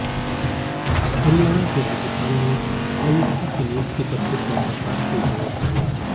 हरियाणा के राज्यपाल ने आयुक्तों की नियुक्ति पर हुड्डा सरकार से जवाब मांगा